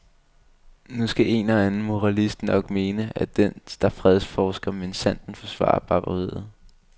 Nu skal en og anden moralist nok mene, at den der fredsforsker minsandten forsvarer barbariet.